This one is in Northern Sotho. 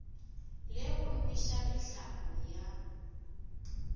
le go nweša mehlape ya